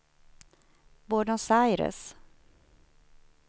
Buenos Aires